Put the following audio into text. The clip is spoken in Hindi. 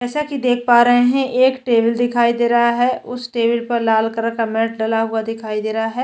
जैसा कि देख पा रहे है एक टेबल दिखाई दे रहा है उस टेबल पर लाल कलर का मैट डला हुआ दिखाई दे रहा हैं।